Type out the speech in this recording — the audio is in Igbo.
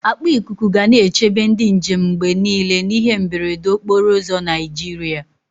Akpa ikuku ga na-echebe ndị njem mgbe niile n'ihe mberede n'okporo ụzọ Naịjirịa.